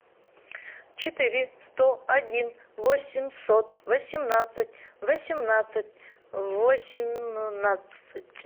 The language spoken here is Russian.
четыре сто один восемьсот восемнадцать восемнадцать восемнадцать